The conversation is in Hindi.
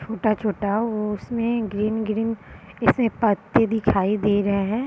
छोटा-छोटा उसमें ग्रीन ग्रीन ऐसे पत्ते दिखाई दे रहे हैं।